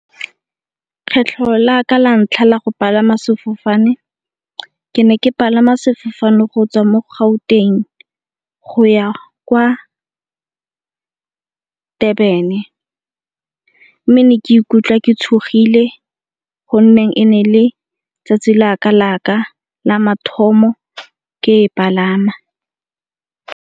Kgetlho la ka la ntlha la go palama sefofane ke ne ke palama sefofane go tswa mo Gauteng go ya kwa Durban-e, mme ne ke ikutlwa ke tshogile gonne e ne e le tsatsi la ka la mathomo ke e palama.